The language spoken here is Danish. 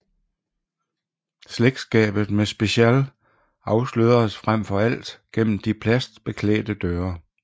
Slægtskabet med Spécial afsløredes frem for alt gennem de plasticbeklædte døre